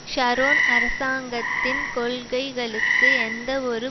Sharon அரசாங்கத்தின் கொள்கைகளுக்கு எந்தவொரு